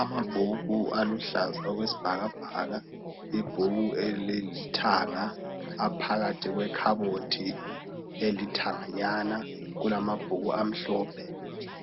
Amabhuku aluhlaza okwesibhakabhaka ibhuku eliyithanga aphakathi kwekhabothi elithanga nyana kulamabhuku amhlophe